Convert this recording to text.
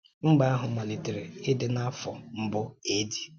Mba ahụ malitere ịdị n’afọ mbụ A.D. [cs[